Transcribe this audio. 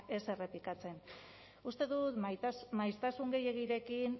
ez errepikatzen uste dut maiztasun gehiegirekin